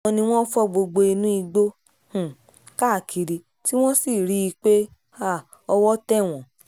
àwọn ni wọ́n fọ gbogbo inú igbó um káàkiri tí wọ́n sì rí i pé um owó tẹ̀ wọ́n